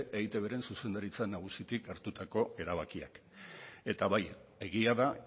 eitbren zuzendaritza nagusitik hartutako erabakiak eta bai egia da